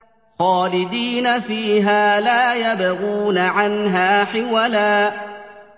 خَالِدِينَ فِيهَا لَا يَبْغُونَ عَنْهَا حِوَلًا